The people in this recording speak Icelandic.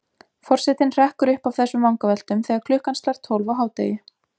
Forsetinn hrekkur upp af þessum vangaveltum þegar klukkan slær tólf á hádegi.